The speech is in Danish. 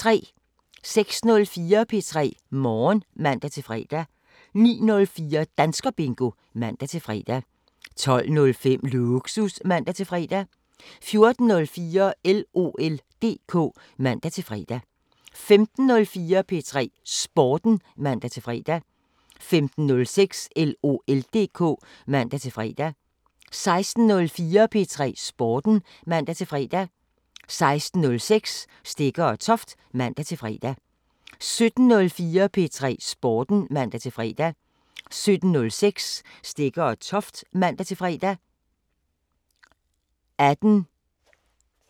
06:04: P3 Morgen (man-fre) 09:04: Danskerbingo (man-fre) 12:05: Lågsus (man-fre) 14:04: LOL DK (man-fre) 15:04: P3 Sporten (man-fre) 15:06: LOL DK (man-fre) 16:04: P3 Sporten (man-fre) 16:06: Stegger & Toft (man-fre) 17:04: P3 Sporten (man-fre) 17:06: Stegger & Toft (man-fre)